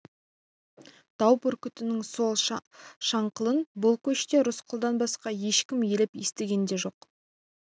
тау бүркітінің сол шаңқылын бұл көште рысқұлдан басқа ешкім елеп естіген де жоқ